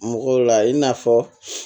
Mɔgɔw la i n'a fɔ